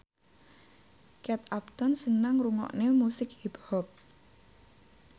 Kate Upton seneng ngrungokne musik hip hop